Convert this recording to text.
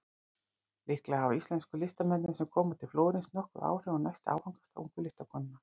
Líklega hafa íslensku listamennirnir sem koma til Flórens nokkur áhrif á næsta áfangastað ungu listakonunnar.